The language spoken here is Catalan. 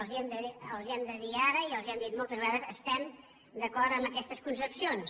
els ho hem de dir ara i els ho hem dit moltes vegades estem d’acord amb aquestes concepcions